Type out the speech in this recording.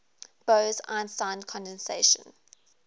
bose einstein condensation